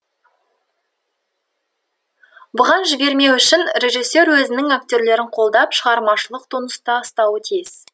бұған жібермеу үшін режиссер өзінің актерлерін қолдап шығармашылық тонуста ұстауы тиіс